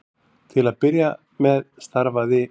Til að byrja með starfaði